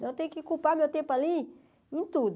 Então eu tenho que culpar meu tempo ali em tudo.